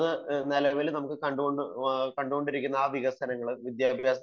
നിലവിൽ നമ്മൾ കണ്ടുകൊണ്ടിരിക്കുന്ന വികസനങ്ങൾ